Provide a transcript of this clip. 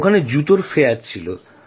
ওখানে জুতো শিল্প মেলায় ছিল